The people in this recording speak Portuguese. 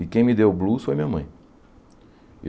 E quem me deu o Blues foi a minha mãe.